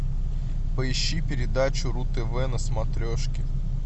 поищи передачу ру тв на смотрешке